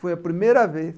Foi a primeira vez.